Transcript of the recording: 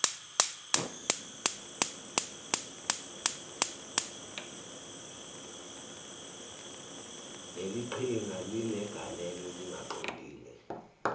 leliqhinga linegalelo elingaqondile